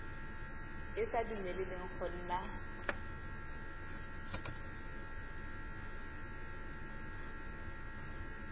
e sa dumeleleng go nna